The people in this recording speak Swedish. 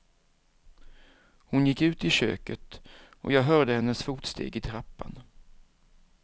Hon gick ut i köket och jag hörde hennes fotsteg i trappan.